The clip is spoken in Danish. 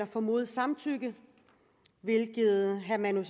formodet samtykke hvilket herre manu